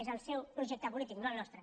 és el seu projecte polític no el nostre